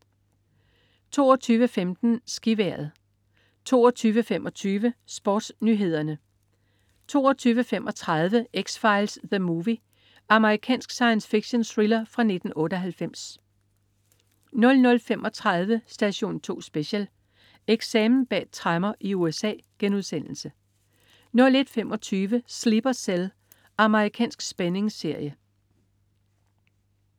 22.15 SkiVejret 22.25 SportsNyhederne 22.35 X-Files: The Movie. Amerikansk science fiction-thriller fra 1998 00.35 Station 2 Special: Eksamen bag tremmer i USA* 01.25 Sleeper Cell. Amerikansk spændingsserie